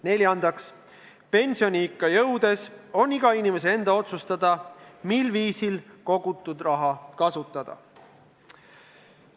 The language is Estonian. Neljandaks, pensioniikka jõudes on iga inimese enda otsustada, millisel viisil kogutud raha kasutada.